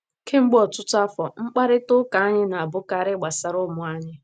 Kemgbe ọtụtụ afọ, mkparịta ụka anyị na - abụkarị gbasara ụmụ anyị.